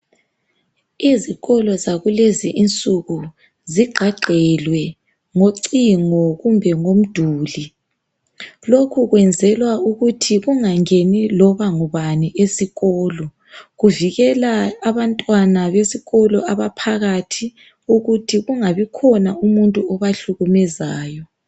Izikolo zakulezi insuku zigqagqelwe ngocingo kumbe ngomduli lokhu kwenzelwa ukuthi kungangeni loba ngubani esikolo kuvikela abantwana besikolo abaphakathi ukuthi kungabikhona umuntu obahlukumezayo.